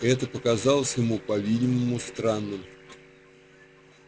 это показалось ему по-видимому странным